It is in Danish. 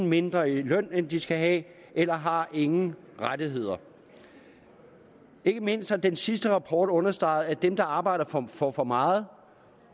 mindre i løn end de skal have eller har ingen rettigheder ikke mindst har den sidste rapport understreget at mange af dem arbejder for for meget